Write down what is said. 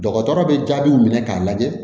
Dɔgɔtɔrɔ bɛ jaabiw minɛ k'a lajɛ